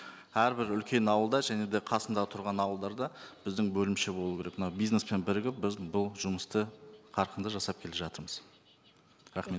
әрбір үлкен ауылда және де қасындағы тұрған ауылдарда біздің бөлімше болу керек мына бизнеспен бірігіп біз бұл жұмысты қарқынды жасап келе жатырмыз рахмет